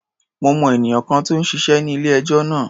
Mo mọ ènìyàn kan tó ń ṣiṣé ní ilé-ẹjọ́ náà.